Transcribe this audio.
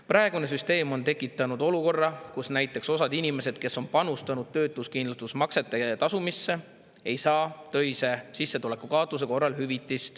Praegune süsteem on tekitanud olukorra, kus näiteks osa inimesi, kes on tasunud töötuskindlustusmakseid, ei saa töise sissetuleku kaotuse korral hüvitist.